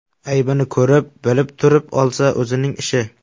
Aybini ko‘rib, bilib turib olsa, o‘zining ishi.